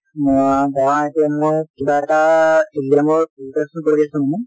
ম ধৰা এতিয়া মই কিবা এটা exam ৰ preparation কৰি আছো মানে